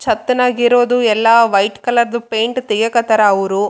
Not only engineers engineers ಜೊತೆಗೆ workers ಕೂಡಾ ಇರ್ಲೇಬೇಕು.